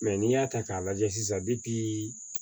Mɛ n'i y'a ta k'a lajɛ sisan